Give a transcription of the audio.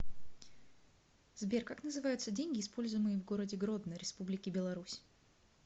сбер как называются деньги используемые в городе гродно республики беларусь